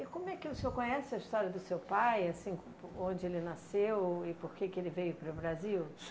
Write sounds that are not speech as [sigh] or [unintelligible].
E como é que o senhor conhece a história do seu pai, assim, [unintelligible] onde ele nasceu e por que que ele veio para o Brasil?